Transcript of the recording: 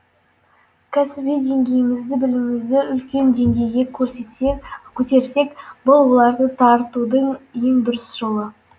кәсіби деңгейімізді білімімізді үлкен деңгейге көтерсек бұл олардың тартудың ең дұрыс жолы